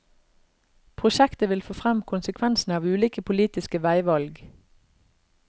Prosjektet vil få frem konsekvensene av ulike politiske veivalg.